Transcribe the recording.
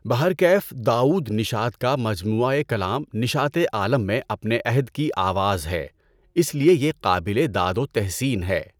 بہر کیف داؤد نشاط کا مجموعہ کلام نشاطِ عالَم میں اپنے عہد کی آواز ہے، اس لیے یہ قابل داد و تحسین ہے۔